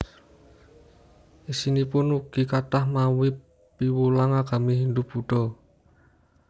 Isinipun ugi kathah mawi piwulang agami Hindu Buddha